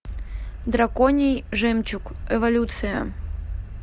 драконий жемчуг эволюция